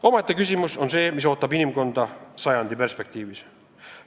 Omaette küsimus on see, mis ootab inimkonda sajandi perspektiivis.